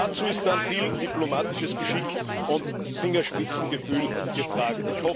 Dazu ist viel diplomatisches Geschick und Fingerspitzengefühl gefragt.